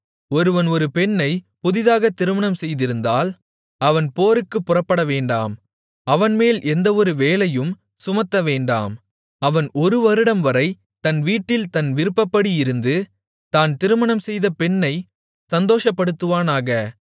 ஒருவன் ஒரு பெண்ணைப் புதிதாகத் திருமணம்செய்திருந்தால் அவன் போருக்குப் புறப்படவேண்டாம் அவன்மேல் எந்தவொரு வேலையையும் சுமத்தவேண்டாம் அவன் ஒரு வருடம்வரை தன் வீட்டில் தன் விருப்பப்படி இருந்து தான் திருமணம்செய்த பெண்ணைச் சந்தோஷப்படுத்துவானாக